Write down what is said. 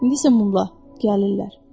İndi isə mumla gəlirlər.